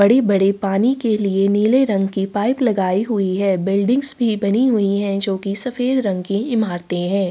बड़े बड़े पानी के लिए नीले रंग की पाइप लगाई हुई है। बिल्डिंग्स भी बनाई हुई हैं जो कि सफेद रंग की इमारतें हैं।